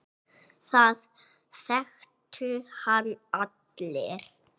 Það þekktu hann allir.